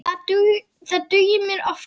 Það dugir mér oftast.